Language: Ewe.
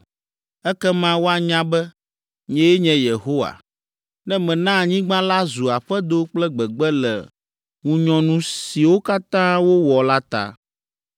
Ekema woanya be, nyee nye Yehowa, ne mena anyigba la zu aƒedo kple gbegbe le ŋunyɔnu siwo katã wowɔ la ta.